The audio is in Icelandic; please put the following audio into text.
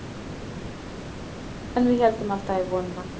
En við héldum alltaf í vonina.